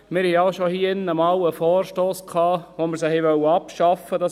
Wir hatten hier drin einmal einen Vorstoss mit dem wir diese abschaffen wollten.